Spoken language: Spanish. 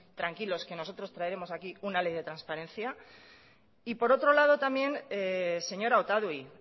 tranquilos que nosotros traeremos aquí una ley de transparencia y por otro lado también señora otadui